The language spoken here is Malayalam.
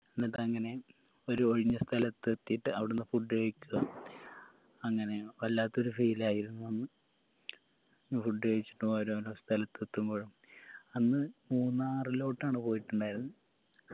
എന്നിട്ടങ്ങനെ ഒരു ഒഴിഞ്ഞ സ്ഥലത്തെത്തീട്ട് അവ്ട്ന്ന് food കഴിക്ക അങ്ങനെ വല്ലാത്തൊരു feel ആയിരുന്നു അന്ന് food കഴിച്ചിട്ട് ഓരോരോ സ്ഥലത്ത് എത്തുമ്പോഴും അന്ന് മൂന്നാറിലോട്ടാണ് പോയിട്ടിണ്ടായിരുന്നത്